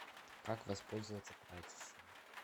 как воспользоваться прачечной